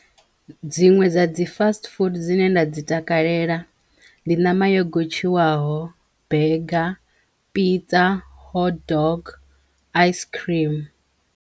Dziṅwe dza dzi fast food dzine nda dzi takalela ndi ṋama yo gotshiwaho, bega, pizza, hotdog, ice-cream.